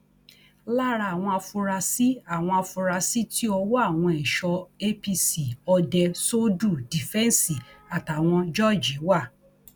lára àwọn afurasí àwọn afurasí tí ọwọ àwọn ẹṣọ apc òde söldù dífẹǹsì àtàwọn jørge wà